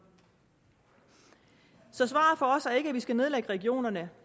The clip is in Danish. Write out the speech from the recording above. så svaret for os er ikke at vi skal nedlægge regionerne